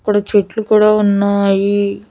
ఇక్కడ చెట్లు కూడా ఉన్నాయి.